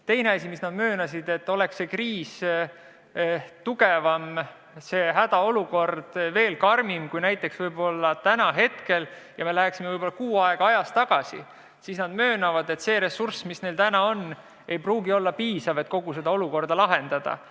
Teine asi, mida nad möönsid, oli see, et oleks see kriis tugevam, hädaolukord veel karmim, kui see näiteks on täna, ja me läheksime võib-olla kuu aega ajas tagasi, siis see ressurss, mis neil täna on, ei pruugiks olla piisav, et kogu seda olukorda lahendada.